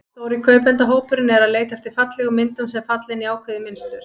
Stóri kaupendahópurinn er að leita eftir fallegum myndum, sem falla inn í ákveðið mynstur.